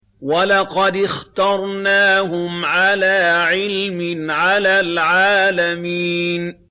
وَلَقَدِ اخْتَرْنَاهُمْ عَلَىٰ عِلْمٍ عَلَى الْعَالَمِينَ